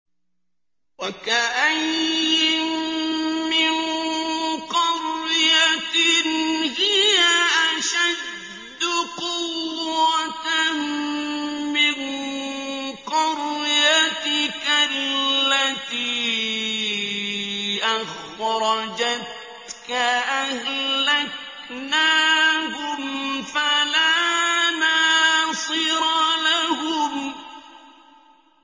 وَكَأَيِّن مِّن قَرْيَةٍ هِيَ أَشَدُّ قُوَّةً مِّن قَرْيَتِكَ الَّتِي أَخْرَجَتْكَ أَهْلَكْنَاهُمْ فَلَا نَاصِرَ لَهُمْ